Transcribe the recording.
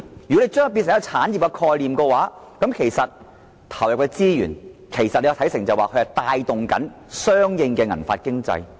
如果把它變成一種產業概念的話，可以把投入的資源視作可以帶動相應的"銀髮經濟"。